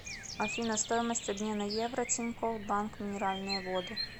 афина стоимость обмена евро тинькофф банк минеральные воды